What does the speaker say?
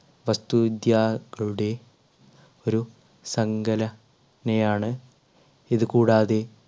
വസ്തുവിദ്യാകളുടെ ഒരു സങ്കല നയാണ് ഇതുകൂടാതെ